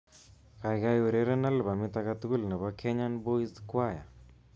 Kaikai ureren albamit aketugul nebo Kenyan Boys choir